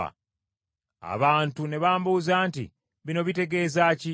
Abantu ne bambuuza nti, “Bino bitegeeza ki?”